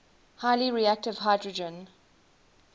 highly reactive hydrogen